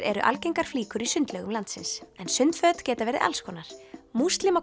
eru algengar flíkur í sundlaugum landsins en sundföt geta verið alls konar